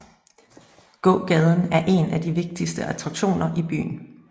Gågaden er en af de vigtigste attraktioner i byen